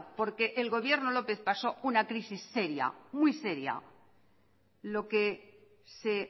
porque el gobierno lópez pasó una crisis seria lo que se